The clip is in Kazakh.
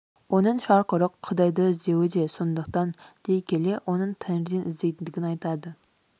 оның шарқ ұрып құдайды іздеуі де сондықтан дей келе оның тәңірден іздейтіндігін айтады